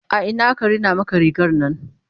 a Ina aka Rina Maka rigarnan?